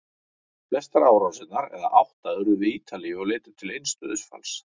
Flestar árásirnar, eða átta, urðu við Ítalíu og leiddu til eins dauðsfalls.